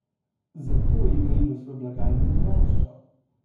Zato je minus v blagajni naraščal.